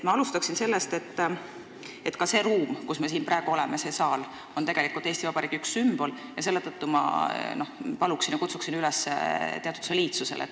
Ma alustan sellest, et ka see ruum, kus me praegu oleme, see saal on tegelikult Eesti Vabariigi üks sümbol, mistõttu ma kutsun üles teatud soliidsusele.